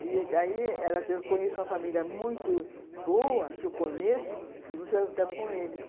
E daí, ela disse, eu conheço uma família muito boa, que eu conheço, e você vai com eles.